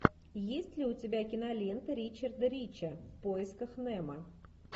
есть ли у тебя кинолента ричарда рича в поисках немо